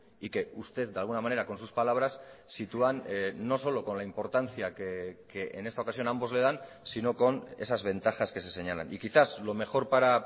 y que usted de alguna manera con sus palabras sitúan no solo con la importancia que en esta ocasión ambos le dan sino con esas ventajas que se señalan y quizás lo mejor para